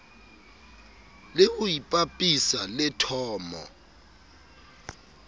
le ho ipapisa le thomo